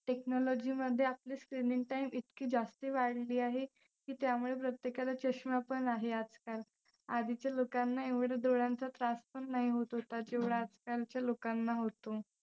technology मध्ये आपलं screen time इतकी जास्ती वाढली आहे की त्यामुळे प्रत्येकाला चष्मा पण आहे आजकाल. आधीच्या लोकांना एवढे डोळ्यांचा त्रास पण नाही होत होता जेवढा आजकालच्या लोकांना होतो.